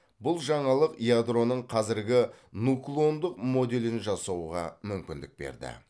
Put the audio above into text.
бұл жаңалық ядроның қазіргі нуклондық моделін жасауға мүмкіндік берді